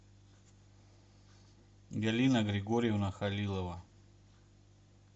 галина григорьевна халилова